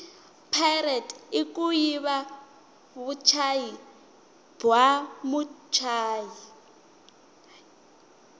pirate ikuyiva vutshayi bwamutshayi